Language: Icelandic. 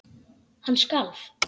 Hann skalf.